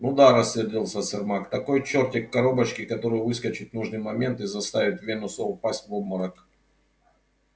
ну да рассердился сермак такой чёртик в коробочке который выскочит в нужный момент и заставит венуса упасть в обморок